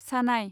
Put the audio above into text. सानाय